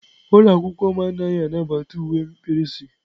Ụlọ akwụkwọ m anaghị anabata uwe mkpirisi.